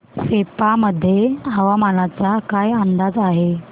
सेप्पा मध्ये हवामानाचा काय अंदाज आहे